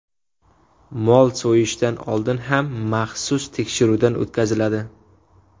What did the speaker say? Mol so‘yishdan oldin ham maxsus tekshiruvdan o‘tkaziladi.